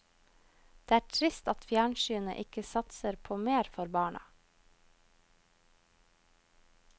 Det er trist at fjernsynet ikke satser på mer for barna.